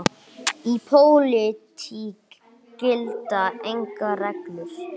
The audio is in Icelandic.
Í pólitík gilda engar reglur.